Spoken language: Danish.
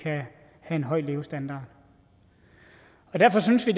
har en høj levestandard derfor synes vi